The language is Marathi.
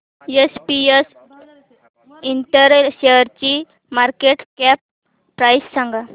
एसपीएस इंटेल शेअरची मार्केट कॅप प्राइस सांगा